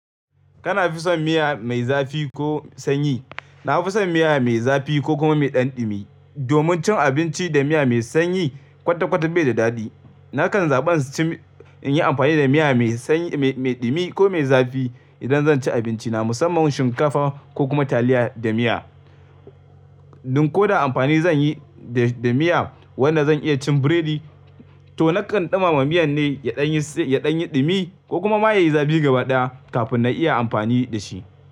Kana fi son miya mai zafi ko sanyi? Na fi son miya mai zafi ko kuma mai ɗanɗumi. Domin cin abinci da miya mai sanyi kwata-kwata bai da daɗi. Nakan zaɓi cin, in yi amfani da miya mai sanyi, mai ɗumi ko mai zafi idan zan ci abinci na musamman shinkafa ko kuma taliya da miya. Dun ko da amfani zan yi da miya wanda zan iya cin biredi, to nakan ɗumama miyan ne ya ɗan yi, ya ɗan yi ɗumi ko kuma ma ya yi zafi gaba ɗaya kafin na iya amfani da shi.